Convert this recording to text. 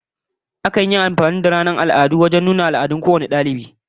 Akan yi amfani da ranar al'adu wajen nuna irin al'adun kowane dalibai